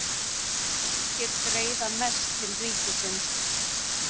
Ríkir greiða mest til ríkisins